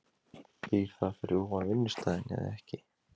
Býr það fyrir ofan vinnustaðinn eða ekki?